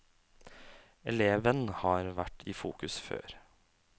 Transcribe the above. Eleven har vært i fokus før.